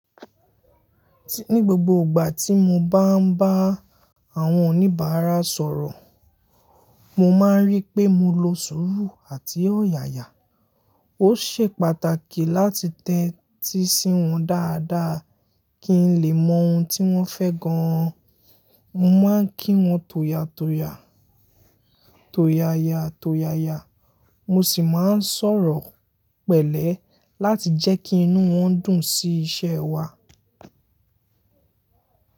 Ní gbogbo ìgbà tí mo bá ń bá àwọn oníbàárà sọ̀rọ̀, mo máa ń rí pé mo lo sùúrù àti ọ̀yàyà. Ó ṣe pàtàkì láti tẹ́tí sí wọn dáadáa kí n lè mọ ohun tí wọ́n fẹ́ gan an. Mo máa ń kí wọn toyatoya, toyaya, toyaya. Mo sì máa ń sọ̀rọ̀ pẹ̀lẹ́ láti jẹ́ kí inú wọn dùn sí iṣẹ́ wa.